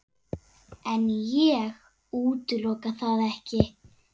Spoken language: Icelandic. En ég útiloka það ekki.